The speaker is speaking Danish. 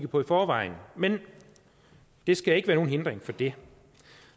på i forvejen men det skal ikke være nogen hindring for det